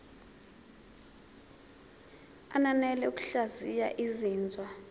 ananele ngokuhlaziya izinzwa